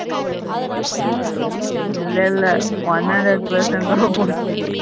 இல்ல இல்ல one hundred percentage robotick.